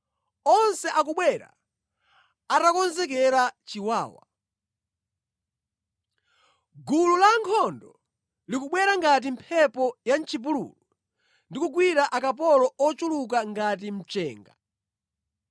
onse akubwera atakonzekera zachiwawa. Gulu la ankhondo likubwera ngati mphepo ya mʼchipululu ndi kugwira akapolo ochuluka ngati mchenga.